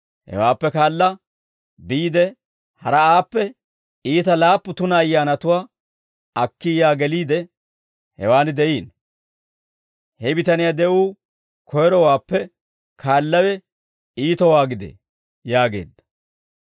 Hewaappe kaala, biide haraa aappe iita laappu tuna ayyaanatuwaa akki yaa geliide, hewaan de'iino; he bitaniyaa de'uu koyrowaappe kaallawe iitowaa gidee» yaageedda.